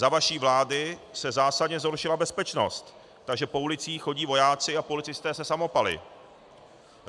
Za vaší vlády se zásadně zhoršila bezpečnost, takže po ulicích chodí vojáci a policisté se samopaly.